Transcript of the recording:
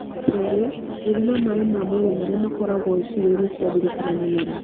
Kerĩ, gũthima maĩ ma mwĩrĩ marĩa makoragwo ciĩgainĩ cia thiri kana mũmero